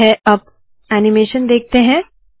ठीक है अब ऐनीमेशन देखते है